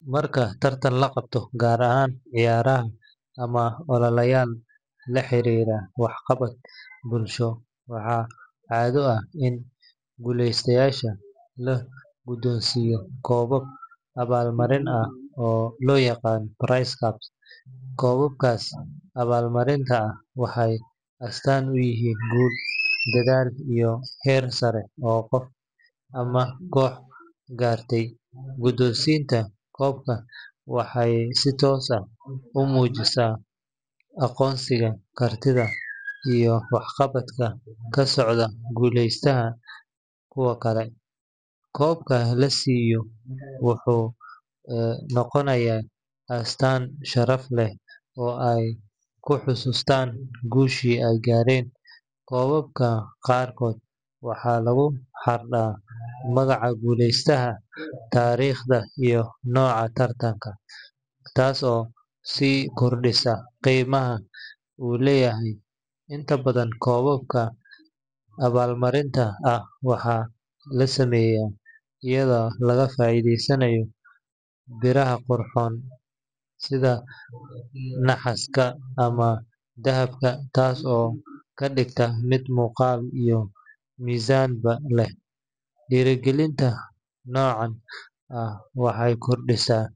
Marka tartan la qabto, gaar ahaan ciyaaraha ama ololayaal la xiriira waxqabad bulsho, waxaa caado ah in guuleystayaasha la guddoonsiiyo koobab abaalmarin ah oo loo yaqaan prize cups. Koobabkaas abaalmarinta ah waxay astaan u yihiin guul, dadaal iyo heer sare oo qof ama koox gaartay. Guddoonsiinta koobka waxay si toos ah u muujisaa aqoonsiga kartida iyo waxqabadka ka soocay guuleystaha kuwa kale. Tusaale ahaan, marka koox dhalinyaro ah ay ku guuleysato tartan kubbadda cagta ah oo degmo lagu qabtay, koobka la siiyo wuxuu noqonayaa astaan sharaf leh oo ay ku xasuustaan guushii ay gaareen. Koobabka qaarkood waxaa lagu xardhaa magaca guuleystaha, taariikhda iyo nooca tartanka, taas oo sii kordhisa qiimaha uu leeyahay. Inta badan koobabka abaalmarinta ah waxaa la sameeyaa iyadoo laga faa’iideysanayo biraha qurxoon sida naxaasta ama dahabka, taas oo ka dhigta mid muuqaal iyo miisaanba leh. Dhiirrigelinta noocan ah waxay kordhisaa.